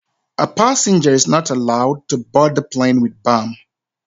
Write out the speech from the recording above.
A passenger is not allowed to board the plane with bomb